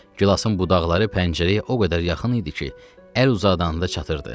Gilasın budaqları pəncərəyə o qədər yaxın idi ki, əl uzadanda çatırdı.